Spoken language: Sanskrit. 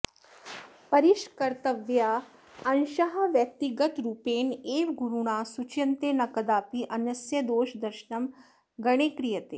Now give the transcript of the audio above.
परिष्कर्तव्याः अंशाः व्यक्तिगतरूपेण एव गुरुणा सूच्यन्ते न कदापि अन्यस्य दोषदर्शनं गणे क्रियते